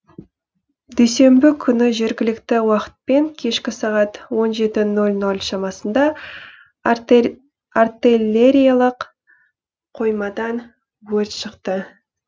дүйсенбі күні жергілікті уақытпен кешкі сағат он жеті нөл нөл шамасында артиеллериялық қоймадан өрт шықты